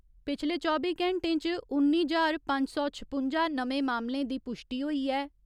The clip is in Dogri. पिछले चौबी घैंटें च उन्नी ज्हार पंज सौ छपुंजा नमें मामलें दी पुश्टि होई ऐ।